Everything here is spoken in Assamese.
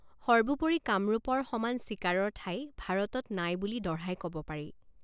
সৰ্বোপৰি কামৰূপৰ সমান চিকাৰৰ ঠাই ভাৰতত নাই বুলি দঢ়াই কব পাৰি।